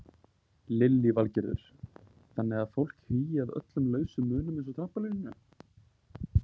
Lillý Valgerður: Þannig að fólk hugi að öllum lausum munum eins og trampólíninu?